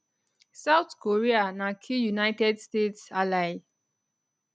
south korea na key united states ally